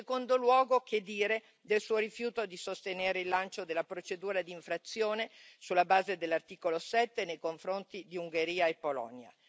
In secondo luogo, che dire del Suo rifiuto di sostenere il lancio della procedura di infrazione sulla base dell'articolo 7 nei confronti di Ungheria e Polonia.